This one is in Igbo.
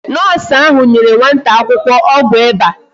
Noosu ahụ nyere nwata akwụkwọ ọgwụ ịba